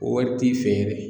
O wari t'i fɛ yɛrɛ